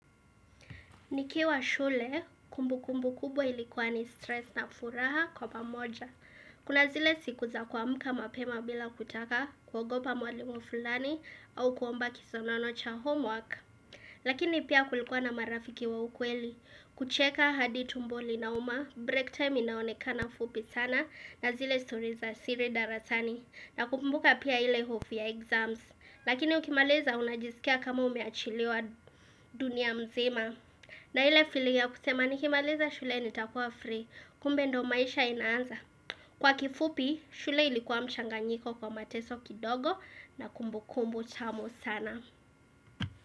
Nikiwa shule, kumbukumbu kubwa ilikuwa ni stress na furaha kwa pamoja. Kuna zile siku za kumka mapema bila kutaka kuogopa mwalimu fulani au kuomba kisonono cha homework. Lakini pia kulikuwa na marafiki wa ukweli. Kucheka hadi tumbo linauma, break time inaonekana fupi sana na zile story za siri darasani. Nakumbuka pia ile hofu exams. Lakini ukimaliza unajisikia kama umeachilewa dunia mzima. Na ile feeling ya kusema nikimaliza shule nitakuwa free, kumbe ndo maisha inaanza. Kwa kifupi, shule ilikuwa mchanganyiko kwa mateso kidogo na kumbukumbu tamu sana.